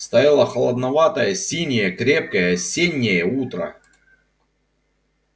стояло холодноватое синее крепкое осеннее утро